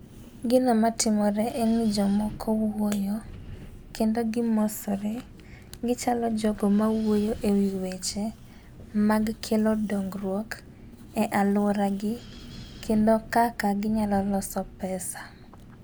Gino matimore en ni jomoko wuoyo kendo gimosore . Gichalo jogo ma wuoyo ewi weche mag kelo dongruok e aluora gi kendo kaka ginyalo loso pesa.